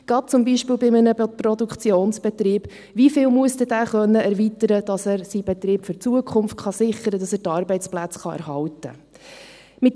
Gerade zum Beispiel bei einem Produktionsbetrieb: Wie viel muss dieser dann erweitern können, damit er seinen Betrieb für die Zukunft sichern kann, damit er die Arbeitsplätze erhalten kann?